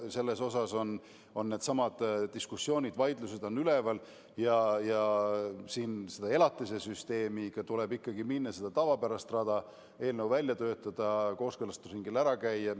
Selles osas on diskussioonid, vaidlused üleval ja elatise süsteemiga tuleb minna ikkagi mööda tavapärast rada: eelnõu välja töötada ja sellega kooskõlastusringil ära käia.